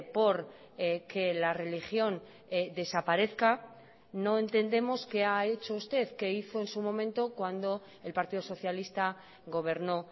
por que la religión desaparezca no entendemos qué ha hecho usted qué hizo en su momento cuando el partido socialista gobernó